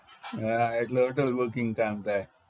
હા એટલે hotel booking કામ થાય